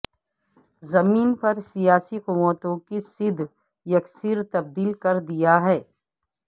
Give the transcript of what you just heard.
زمین پر سیاسی قوتوں کی سیدھ یکسر تبدیل کر دیا ہے